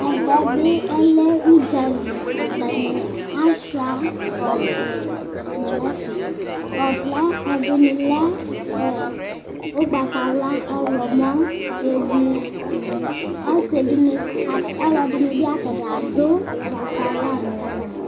ɛvɛbi ɔlɛ udzɑli ɑtɑni ɑchuɑ ɔvlɛ ɔvlɛ ɛdini lɛ ụkpɑtɑwlɑ ɔhlomo ɛblu ɑsidini ɔlodinibi biɑtaniadu pɑtɑlo